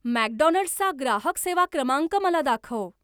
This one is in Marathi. मॅकडोनाल्ड्सचा ग्राहक सेवा क्रमांक मला दाखव